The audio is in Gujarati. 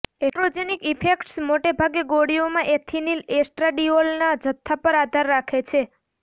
એસ્ટ્રોજેનિક ઇફેક્ટ્સ મોટે ભાગે ગોળીઓમાં એથિનિલ એસ્ટ્રાડીઓલના જથ્થા પર આધાર રાખે છે